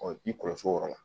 i b'i kɔlɔsi o yɔrɔ la